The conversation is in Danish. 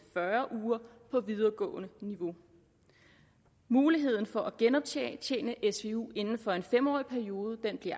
fyrre uger på videregående niveau muligheden for at genoptjene svu inden for en fem årig periode bliver